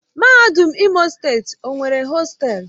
Mahadum Imo Steeti o nwere hostelu?